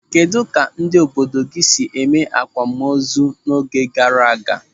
Kedụ etu ndị obodo gị si eme akwamozu n'oge gara aga?